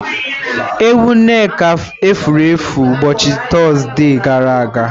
Ewu Nneka efuru efu ụbọchị Tọzdee gara aga